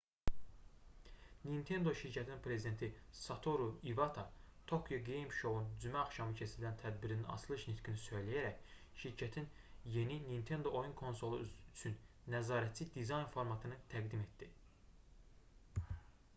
nintendo şirkətinin prezidenti satoru ivata tokyo game show"nun cümə axşamı keçirilən tədbirinin açılış nitqini söyləyərək şirkətin yeni nintendo oyun konsolu üçün nəzarətçi dizayn formatını təqdim etdi